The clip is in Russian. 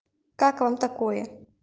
как вам такое